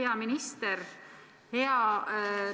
Hea minister!